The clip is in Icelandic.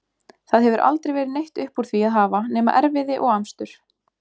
Það hefur aldrei verið neitt upp úr því að hafa nema erfiði og amstur.